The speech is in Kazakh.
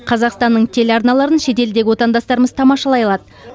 қазақстанның теле арналарын шетелдегі отандастарымыз тамашалай алады